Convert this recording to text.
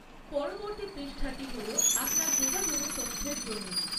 পরবর্তী পৃষ্ঠাটি হল আপনার যোগাযোগের তথ্যের জন্য।